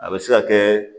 A bɛ se ka kɛ